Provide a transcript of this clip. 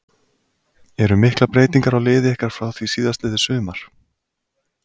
Eru miklar breytingar á liði ykkar frá því síðastliðið sumar?